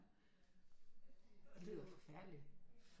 Det lyder forfærdeligt